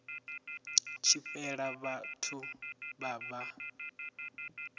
tshi fhela vhathu vha vha